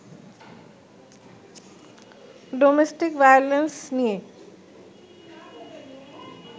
domestic violence নিয়ে